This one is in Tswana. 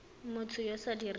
motho yo o sa dirang